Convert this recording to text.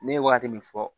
Ne ye wagati min fɔ